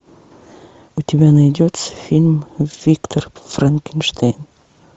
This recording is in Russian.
у тебя найдется фильм виктор франкенштейн